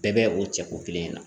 Bɛɛ bɛ o cɛ ko kelen in na